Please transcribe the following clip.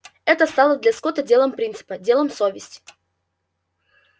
это стало для скотта делом принципа делом совести